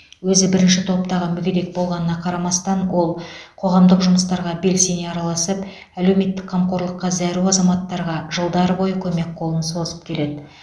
өзі бірінші топтағы мүгедек болғанына қарамастан ол қоғамдық жұмыстарға белсене араласып әлеуметтік қамқорлыққа зәру азаматтарға жылдар бойы көмек қолын созып келеді